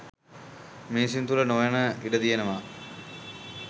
මිනිසුන් තුළ නොවන්න ඉඩ තියෙනවා.